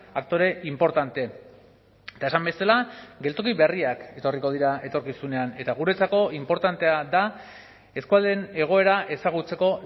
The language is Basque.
aktore inportante eta esan bezala geltoki berriak etorriko dira etorkizunean eta guretzako inportantea da eskualdeen egoera ezagutzeko